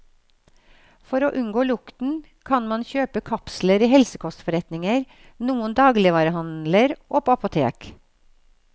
For å unngå lukten, kan man kjøpe kapsler i helsekostforretninger, noen dagligvarehandler og på apotek.